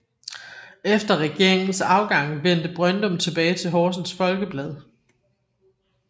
Efter regeringens afgang vendte Brøndum tilbage til Horsens Folkeblad